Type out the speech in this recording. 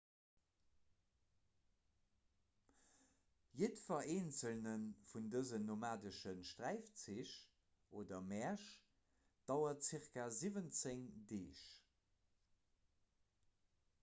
jiddwer eenzele vun dësen nomadesche sträifzich oder märsch dauert zirka 17 deeg